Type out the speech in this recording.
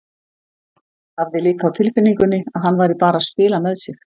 Hafði líka á tilfinningunni að hann væri bara að spila með sig.